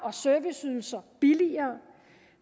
og serviceydelser billigere